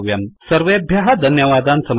सर्वेभ्यः धन्यावादान् समर्पयामि